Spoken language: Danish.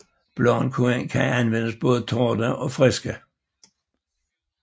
Bladene kan anvendes både tørrede og friske